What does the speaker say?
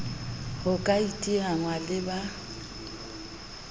ho ka iteanngwa le ba